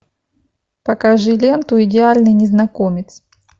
покажи ленту идеальный незнакомец